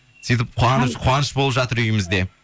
сөйтіп қуаныш болып жатыр үйімізде